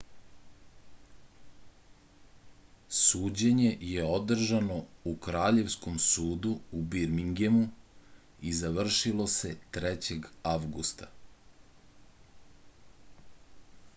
suđenje je održano u kraljevskom sudu u birmingemu i završilo se 3. avgusta